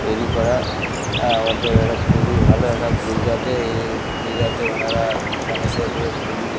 তৈরী করা এ এ একটা খুবই ভালো একটা গণেশের--